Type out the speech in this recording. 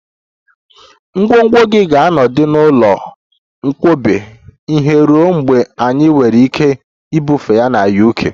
Ngwongwo gị ga-anọgide n'ụlọ nkwakọba ihe ruo mgbe anyị nwere ike ibufe ha na UK